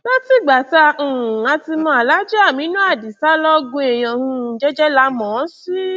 látìgbà tá a um ti mọ alhaji aminu adisa lọgun èèyàn um jẹ́jẹ́ la mọ̀ ọ́n sí